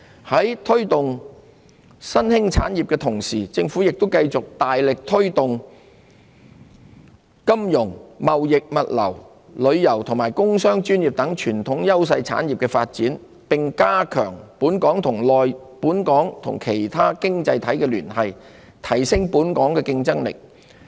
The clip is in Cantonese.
在推動新興產業的同時，政府亦會繼續大力推動金融、貿易物流、旅遊和工商專業等傳統優勢產業的發展，並加強本港與其他經濟體的聯繫，提升本港的競爭力。